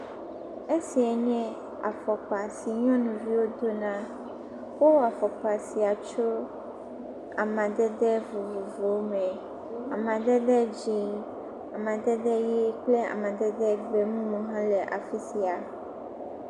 Esiae nye afɔkpa si nyɔnuviwo do na. Wo wɔ afɔkpa sia tso amedede vovovowo me. Amadede dzɛ, amedede ʋi kple amadede bubuwo ha le afi sia